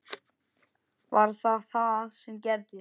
Var það það sem gerðist?